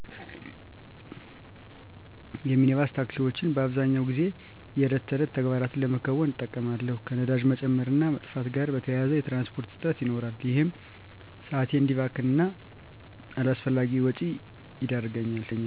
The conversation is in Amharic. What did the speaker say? የሚኒባስ ታክሲወችን በአብዛኛው ጊዜ የዕለት ተዕለት ተግባራትን ለመከወን እጠቀማለሁ። ከነዳጅ መጨመር እና መጥፋት ጋር በተያያዘ የትራንስፖርት እጥረት ይኖራል። ይህም ሰአቴ እዲባክን እና አላስፈላጊ ወጪ ይዳረገኛል።